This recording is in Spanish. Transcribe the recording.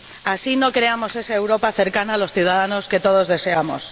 Así no creamos esa Europa cercana a los ciudadanos que todos deseamos.